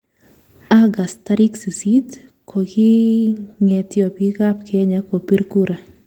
August tarik sisit, kokingetyo piik ap. Kenya kopir kura